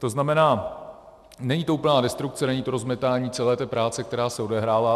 To znamená, není to úplná destrukce, není to rozmetání celé té práce, která se odehrála.